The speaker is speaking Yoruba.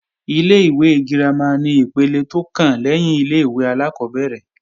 Ilé-ìwé girama ni ipele tó kàn lẹ́yìn ilé-ìwé alákọ́bẹ̀rẹ̀